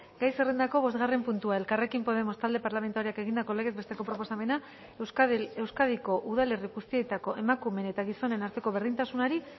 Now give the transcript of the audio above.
gai zerrendako bosgarren puntua elkarrekin podemos talde parlamentarioak egindako legez besteko proposamena euskadiko udalerri guztietako emakumeen eta gizonen arteko berdintasunari